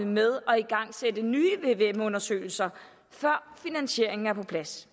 med at igangsætte nye vvm undersøgelser før finansieringen er på plads